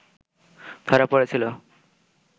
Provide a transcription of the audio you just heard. ধরা পড়েছিল